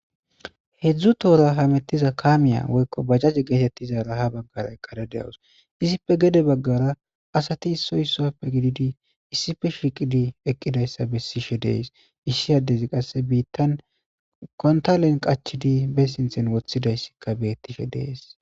hedzdzu toora hamettiza kaamiya woykko bajjaze geetettizara ha baggara eqqade de7awus izipfe gede baggara asati isoy sappe gididi issife shiqidi eqqidayssa bessishe dees ishshiyadezi qasse biittan kontalen qachidi be sinthen woththidayssikka beettishe dees